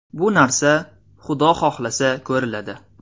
Bu narsa, Xudo xohlasa ko‘riladi.